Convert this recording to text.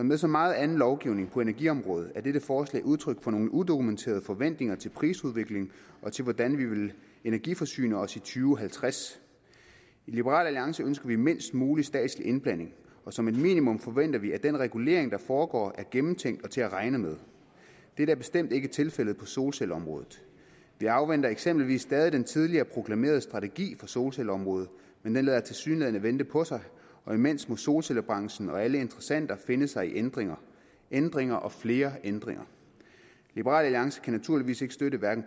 med så meget anden lovgivning på energiområdet er dette forslag udtryk for nogle udokumenterede forventninger til prisudviklingen og til hvordan vi vil energiforsyne os i to halvtreds i liberal alliance ønsker vi mindst mulig statslig indblanding og som et minimum forventer vi at den regulering der foregår er gennemtænkt og til at regne med dette er bestemt ikke tilfældet på solcelleområdet vi afventer eksempelvis stadig den tidligere proklamerede strategi for solcelleområdet men den lader tilsyneladende vente på sig og imens må solcellebranchen og alle interessenter finde sig i ændringer ændringer og flere ændringer liberal alliance kan naturligvis støtte